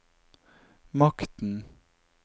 makten